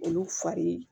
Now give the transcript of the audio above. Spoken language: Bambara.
Olu fari